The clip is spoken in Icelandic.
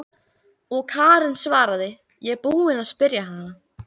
Og Karen svaraði: Ég er búin að spyrja hana.